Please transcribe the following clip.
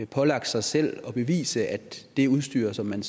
pålagt sig selv at bevise at det udstyr som man